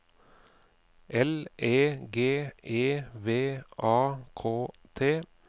L E G E V A K T